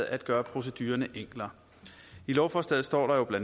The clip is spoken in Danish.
at gøre procedurerne enklere i lovforslaget står der bla